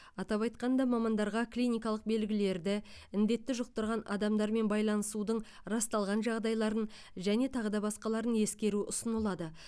атап айтқанда мамандарға клиникалық белгілерді індетті жұқтырған адамдармен байланысудың расталған жағдайларын және тағыда басқаларын ескеру ұсынылады